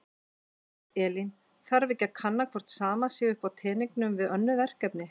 Elín: Þarf ekki að kanna hvort sama sé upp á teningnum við önnur verkefni?